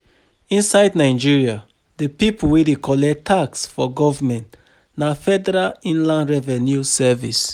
Inside Nigeria, di pipo wey dey collect tax for government na Federal Inland Revenue Service